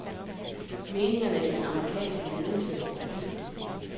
Meningerne i den amerikanske ledelse var delte.